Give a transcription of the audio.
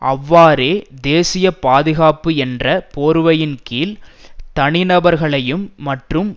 அவ்வாறே தேசிய பாதுகாப்பு என்ற போர்வையின் கீழ் தனி நபர்களையும் மற்றும்